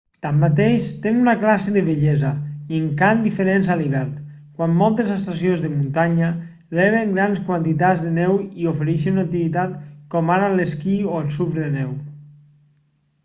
tanmateix tenen una classe de bellesa i encant diferents a l'hivern quan moltes estacions de muntanya reben grans quantitats de neu i ofereixen activitats com ara l'esquí o el surf de neu